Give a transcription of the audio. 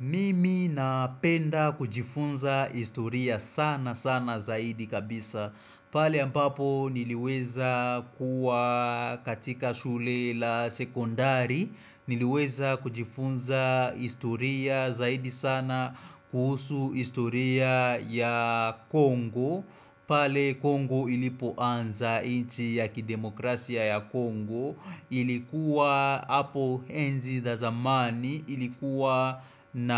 Mimi napenda kujifunza historia sana sana zaidi kabisa pale ambapo niliweza kuwa katika shule la sekondari Niliweza kujifunza historia zaidi sana kuhusu historia ya Kongo pale Kongo ilipoanza nchi ya kidemokrasia ya Kongo ilikuwa hapo enzi za zamani ilikuwa na